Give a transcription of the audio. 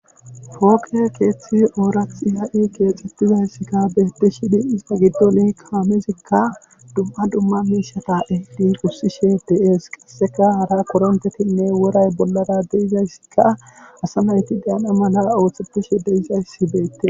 Pooqe keethi oorathi ha'i keexetidagekka beetishe dees. Istta gidon kaamezikka dumma dumma miishsha ehidi gussishe dees. qassekka haray koritheti woray bolara asa nayti daana mala oosetishe dizay beetees.